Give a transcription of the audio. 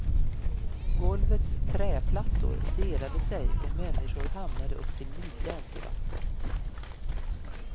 Golvets träplattor delade sig och människor hamnade upp till midjan i vatten.